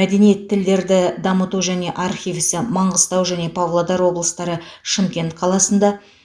мәдениет тілдерді дамыту және архив ісі маңғыстау және павлодар облыстары шымкент қаласында